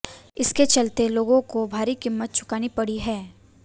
इसके चलते लोगों को इसकी भारी कीमत चुकानी पड़ती है